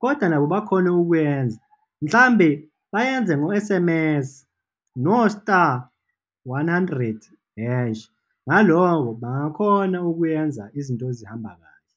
kodwa nabo bakhone ukuyenza, mhlawumbe bayenze ngo-S_M_S, no-star, one hundred, hash, ngaloko bangakhona ukuwenza izinto ezihamba kahle.